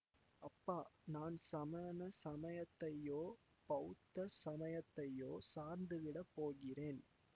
அப்பா நான் சமண சமயத்தையோ பௌத்த சமயத்தையோ சார்ந்துவிடப் போகிறேன்